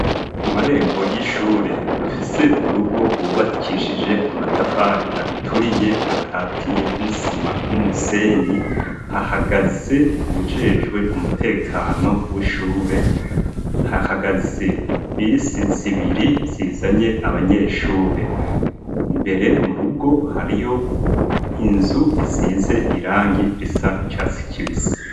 Ku marembo y'ishure afise urugo rwubakishije amatafari aturiye ,akatiye n'isima n'umusenyi, hahagaze uwujejwe umutekano w'ishure , hahagaze bisi zibiri zizanye abanyeshure, imbere mu rugo hariyo inzu isize irangi risa n'catsi kibisi.